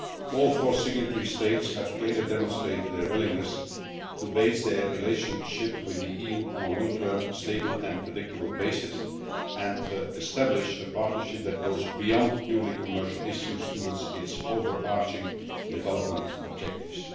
All four signatory states have clearly demonstrated their willingness to establish their relationship with the EU on a long term, stable and predictable basis and establish a partnership that goes beyond purely commercial issues to achieve its overarching development objectives.